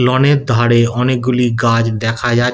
loan -এর ধরে অনেকগুলি গাছ দেখা যা--